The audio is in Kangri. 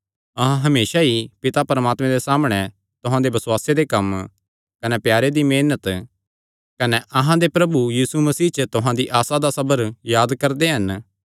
अहां हमेसा ई पिता परमात्मे दे सामणै तुहां दे बसुआसे दे कम्म कने प्यारे दी मेहनत कने अहां दे प्रभु यीशु मसीह च तुहां दी आसा दा सबर याद करदे हन